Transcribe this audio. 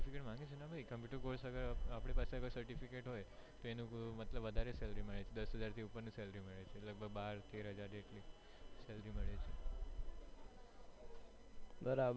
certificate માંગે છે ને ભાઈ computer course આપણી પાસે certificate મતલબ વધારે salary મળે છે દસ હજાર થી ઉપ્પરની salary મળે છે લગભગ બાર તેર હજાર જેટલી salary મળે છે.